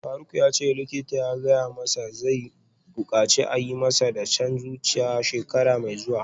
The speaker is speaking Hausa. Faruk yace likita ya gaya masa zai bukaci a yi masa dashen zuciya shekara mai zuwa